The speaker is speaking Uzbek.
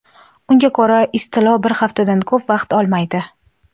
Unga ko‘ra, istilo bir haftadan ko‘p vaqt olmaydi.